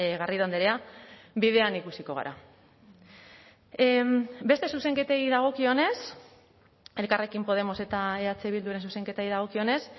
garrido andrea bidean ikusiko gara beste zuzenketei dagokionez elkarrekin podemos eta eh bilduren zuzenketei dagokionez